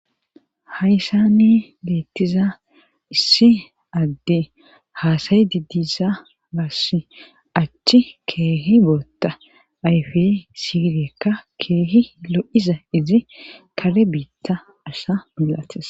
hayssani beettiza issi adde haasayi didiza baass achchi keehi bootta ayfe siiriekka keehi lo7iza izi kare biitta asha milates